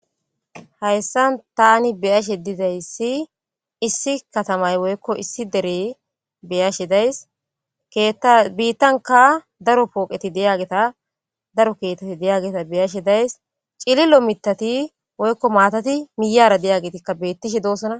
hayssa tani beyashe dizayssi issi katamay woykko issi dere beyashe days keetta biittanka daro pooqeti deyageta daro keeteti deyageta beyashe days cilillo mitati woykko maatati miyara deyagetikka bettishe doosana